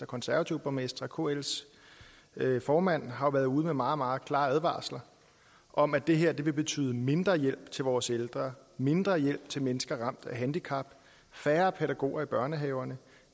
konservative borgmestre og kls formand har været ude med meget meget klare advarsler om at det her vil betyde mindre hjælp til vores ældre mindre hjælp til mennesker ramt af handicap færre pædagoger i børnehaverne